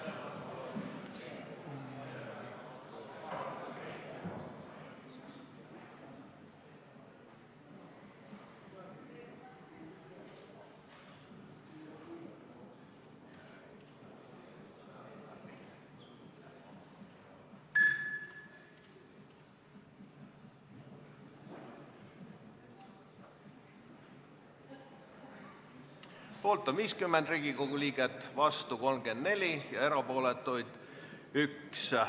Hääletustulemused Poolt on 50 Riigikogu liiget, vastuolijaid 34 ja erapooletuid 1.